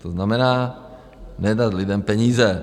To znamená nedat lidem peníze.